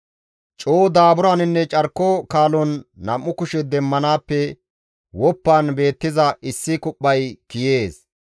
Coo daaburaninne carko kaalon nam7u kushe demmanaappe woppan beettiza issi kuphphay kiyees.